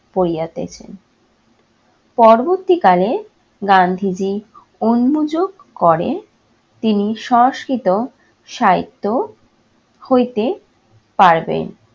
পরিয়াতেছেন। পরবর্তীকালে গান্ধীজী উন্মযোগ করেন, তিনি সংস্কৃত, সাহিত্য হইতে পারবেন।